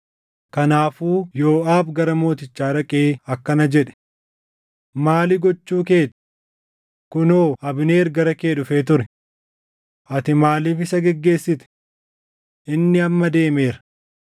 Kanaafuu Yooʼaab gara mootichaa dhaqee akkana jedhe; “Maali gochuu kee ti? Kunoo Abneer gara kee dhufee ture. Ati Maaliif isa geggeessite? Inni amma deemeera!